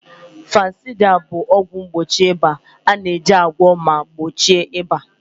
Fanusida bụ ọgwụ mgbochi ịba na-eji agwọ ma gbochie ịba.